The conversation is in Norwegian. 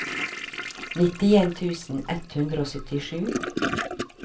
nittien tusen ett hundre og syttisju